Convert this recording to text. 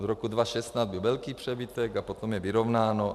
Od roku 2016 byl velký přebytek a potom je vyrovnáno.